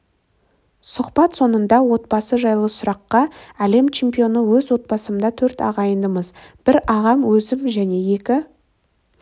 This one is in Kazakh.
сұхбат соңында отбасы жайлы сұраққа әлем чемпионы өз отбасымда төрт ағайындымыз бір ағам өзім және екі